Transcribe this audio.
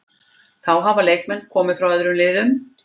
Þá hafa leikmenn komið frá öðrum liðum.